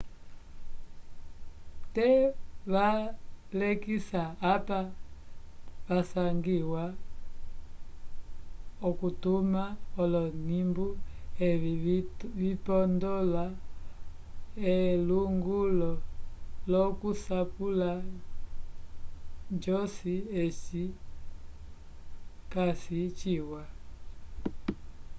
te valekisa apa vasangiwa okutuma olonimbu evi vipondola elungululo lokusapula josi aci casi jiwa